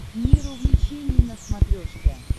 мир увлечений на смотрешке